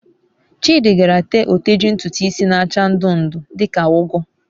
Chidi gaara tee oteji ntutu isi n'acha ndu ndu, di ka ugu